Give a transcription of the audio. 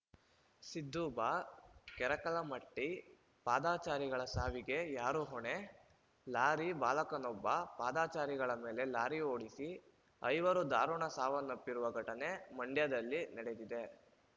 ಸಿದ್ದು ಬ ಕೆರಕಲಮಟ್ಟಿ ಪಾದಚಾರಿಗಳ ಸಾವಿಗೆ ಯಾರು ಹೊಣೆ ಲಾರಿ ಬಾಲಕನೊಬ್ಬಪಾದಾಚಾರಿಗಳ ಮೇಲೆ ಲಾರಿ ಓಡಿಸಿ ಐವರು ಧಾರುಣ ಸಾವನ್ನಪ್ಪಿರುವ ಘಟನೆ ಮಂಡ್ಯದಲ್ಲಿ ನಡೆದಿದೆ